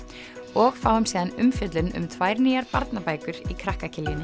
og fáum síðan umfjöllun um tvær nýjar barnabækur í krakka